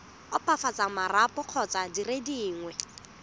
opafatsa marapo kgotsa dire dingwe